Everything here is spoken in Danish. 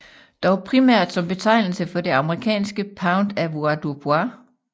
Dog primært som betegnelse for det amerikanske pound avoirdupois